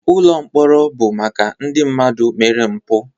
Ụlọ mkpọrọ bụ maka ndị mmadụ mere mpụ